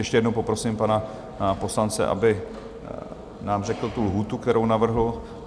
Ještě jednou poprosím pana poslance, aby nám řekl tu lhůtu, kterou navrhl.